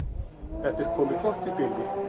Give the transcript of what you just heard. Þetta er komið gott í bili.